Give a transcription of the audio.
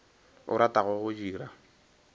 o ratago go di dira